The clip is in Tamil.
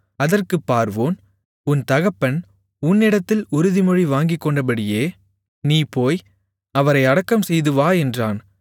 அதற்குப் பார்வோன் உன் தகப்பன் உன்னிடத்தில் உறுதிமொழி வாங்கிக்கொண்டபடியே நீ போய் அவரை அடக்கம்செய்து வா என்றான்